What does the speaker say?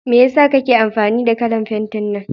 Mai yasa kake amfani da kalan fentin nan?